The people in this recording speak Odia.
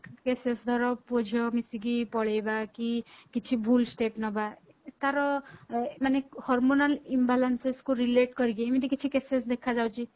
cases ଧର ପୁଅ ଝିଅ ମିସିକି ପଳେଇବା କି କିଛି ଭୁଲ step ନବା ତାର ମାନେ hormonal imbalances କୁ relate କରିକି ଏମିତି କିଛି cases ଦେଖା ଯାଉଛି